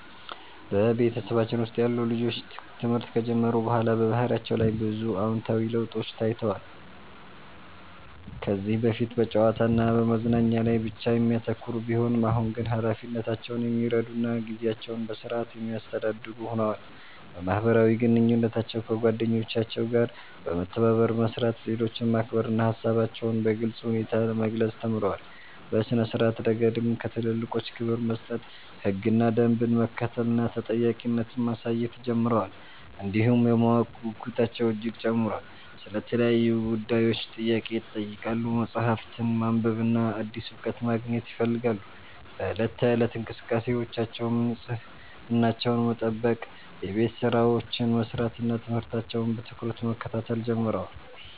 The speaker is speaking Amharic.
በቤተሰባችን ውስጥ ያሉ ልጆች ትምህርት ከጀመሩ በኋላ በባህሪያቸው ላይ ብዙ አዎንታዊ ለውጦች ታይተዋል። ከዚህ በፊት በጨዋታ እና በመዝናኛ ላይ ብቻ የሚያተኩሩ ቢሆኑም፣ አሁን ግን ኃላፊነታቸውን የሚረዱ እና ጊዜያቸውን በሥርዓት የሚያስተዳድሩ ሆነዋል። በማህበራዊ ግንኙነታቸው ከጓደኞቻቸው ጋር በመተባበር መስራት፣ ሌሎችን ማክበር እና ሃሳባቸውን በግልጽ ሁኔታ መግለጽ ተምረዋል። በሥነ-ስርዓት ረገድም ለትልልቆች ክብር መስጠት፣ ህግና ደንብን መከተል እና ተጠያቂነት ማሳየት ጀምረዋል። እንዲሁም የማወቅ ጉጉታቸው እጅግ ጨምሯል፤ ስለ ተለያዩ ጉዳዮች ጥያቄ ይጠይቃሉ፣ መጽሐፍትን ማንበብና አዲስ እውቀት ማግኘት ይፈልጋሉ። በዕለት ተዕለት እንቅስቃሴያቸውም ንጽህናቸውን መጠበቅ፣ የቤት ሥራቸውን መስራት እና ትምህርታቸውን በትኩረት መከታተል ጀምረዋል።